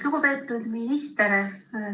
Lugupeetud minister!